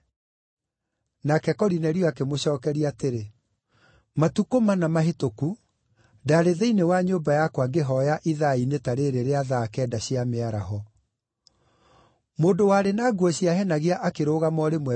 Nake Korinelio akĩmũcookeria atĩrĩ: “Matukũ mana mahĩtũku, ndaarĩ thĩinĩ wa nyũmba yakwa ngĩhooya ithaa-inĩ ta rĩĩrĩ rĩa thaa kenda cia mĩaraho. Mũndũ warĩ na nguo ciahenagia akĩrũgama o rĩmwe mbere yakwa,